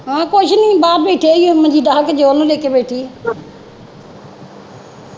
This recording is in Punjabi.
ਹਾਂ ਕੁਝ ਨਹੀਂ ਬਾਹਰ ਬੈਠੇ ਈ ਓ ਮੰਜੀ ਢਾਹ ਕੇ ਜੌਹਨ ਨੂੰ ਲੈ ਕੇ ਬੈਠੀ ਓ